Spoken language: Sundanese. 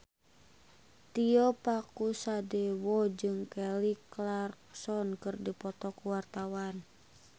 Tio Pakusadewo jeung Kelly Clarkson keur dipoto ku wartawan